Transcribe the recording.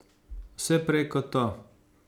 Vse prej kot to.